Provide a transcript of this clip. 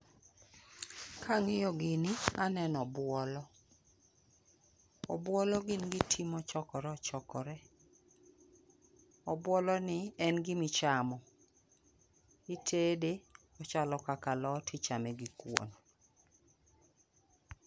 Kang'iyo gini, aneno obwolo. Obwolo gin gi ti mochokore ochokore. Obwolo ni en gi ma ichamo. Itede, ochalo kaka alot, ichame gi kuon.